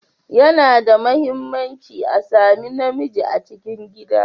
Yana da mahimmanci a sami na miji a cikin gida.